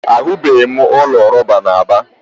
Ahụbeghị m ụlọ rọba na Aba.